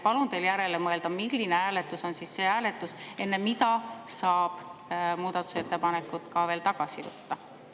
Palun teil järele mõelda, milline hääletus on see hääletus, enne mida saab muudatusettepanekuid veel tagasi võtta.